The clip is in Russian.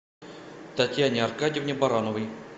татьяне аркадьевне барановой